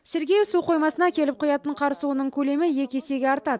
сергеев су қоймасына келіп құятын қар суының көлемі екі есеге артады